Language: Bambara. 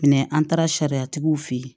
an taara sariyatigiw fe yen